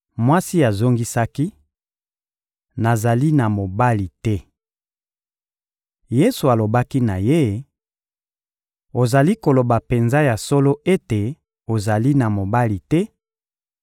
Mwasi azongisaki: — Nazali na mobali te. Yesu alobaki na ye: — Ozali koloba penza ya solo ete ozali na mobali te,